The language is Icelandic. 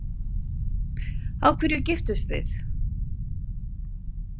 Af hverju giftust þið?